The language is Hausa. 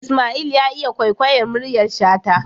Isma'il ya iya kwaikwayar muryar shata